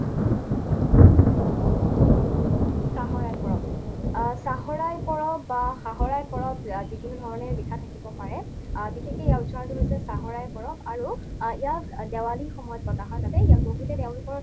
চাহৰাই পৰৱ। আহ চাহৰাই পৰৱ বা সাহৰাই পৰৱ, ইয়াক যিকোনো ধৰণে লিখা থাকিব পাৰে, আহ বিশেষকৈ ইয়াৰ উচ্চাৰণটো হৈছে চাহৰাই পৰৱ আৰু ইয়াক দেৱালীৰ সময়ত পতা হয় বাবে ইয়াক বহুতে তেওঁলোকৰ